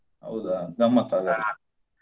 ಹೌದಾ! ಗಮ್ಮತ್ತ್ ಹಾಗಾದ್ರೆ.